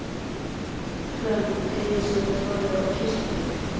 Hrönn teygði sig yfir borðið og kyssti mig.